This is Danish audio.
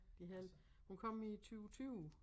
De havde hun kom i 20 20